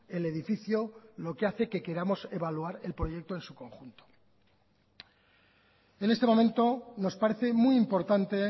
el edificio lo que hace que queramos evaluar el proyecto en su conjunto en este momento nos parece muy importante